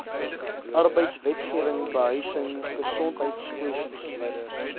arbeidswetgewing behuising gesondheidskwessies